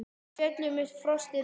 Á fjöllum uppi frostið beit.